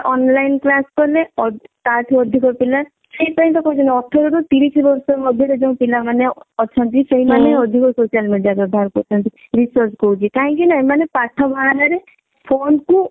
online class କଲେ ତା ଠୁ ଅଧିକ ପିଲା ସେଇ ପାଇଁ ତ କହୁଛନ୍ତି ଅଠର ରୁ ତିରିଶି ବର୍ଷ ମଧ୍ୟ ରେ ଯଉ ପିଲା ମାନେ ଅଛନ୍ତି ସେଇ ମାନେ ଅଧିକ social media ବ୍ୟବହାର କରୁଛନ୍ତି research କହୁଛି କାହିଁକି ନା ଏମାନେ ପାଠ ବାହାନା ରେ phone କୁ